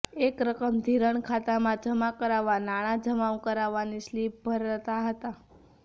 જે રકમ ધીરણ ખાતામાં જમા કરાવવા નાણા જમા કરાવવાની સ્લીપ ભરતા હતા